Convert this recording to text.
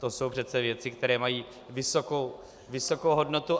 To jsou přece věci, které mají vysokou hodnotu.